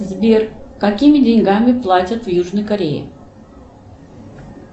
сбер какими деньгами платят в южной корее